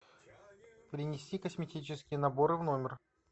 принеси косметические наборы в номер